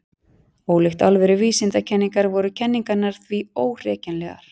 Ólíkt alvöru vísindakenningar væru kenningarnar því óhrekjanlegar.